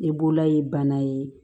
Ne bolola ye bana ye